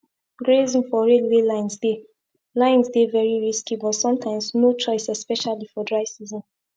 grazing for railway lines dey lines dey very risky but sometimes no choice especially for dry season